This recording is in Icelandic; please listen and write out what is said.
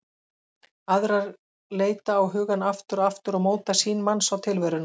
Aðrar leita á hugann aftur og aftur og móta sýn manns á tilveruna.